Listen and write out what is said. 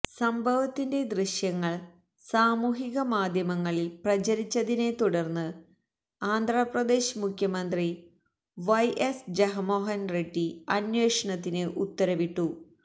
സംഭവത്തിന്റെ ദൃശ്യങ്ങള് സാമൂഹികമാധ്യമങ്ങളില് പ്രചരിച്ചതിനെ തുടര്ന്ന് ആന്ധ്രാപ്രദേശ് മുഖ്യമന്ത്രി വൈ എസ് ജഗന്മോഹന് റെഡ്ഡി അന്വേഷണത്തിന് ഉത്തരവിട്ടു